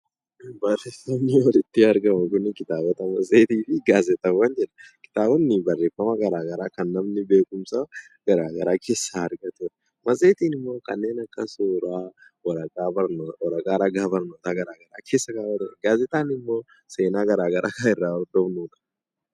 Kitaabota, matseetii fi gaazexawwan. Kitaabonni barreeffama garaa garaa kan namni beekumsa garaa garaa keessaa argatuudha. Matseetiin immoo kamneen akka suuraa, waraqaa ragaa barnootaa keessatti kan hammatuudha. Gaazexaan immoo seenaawwan garaa garaa kan of keessaa qabuu dha.